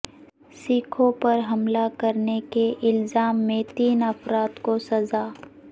سکھوں پر حملہ کرنے کے الزام میں تین افراد کو سزا